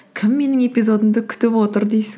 кім менің эпизодымды күтіп отыр дейсің